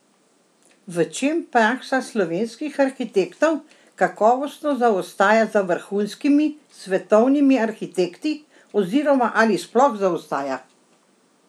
V čem praksa slovenskih arhitektov kakovostno zaostaja za vrhunskimi svetovnimi arhitekti oziroma ali sploh zaostaja?